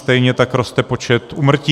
Stejně tak roste počet úmrtí.